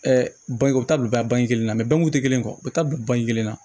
u bɛ taa bila bange kelen na mɛ bangun tɛ kelen ye u bɛ taa bila bange kelen na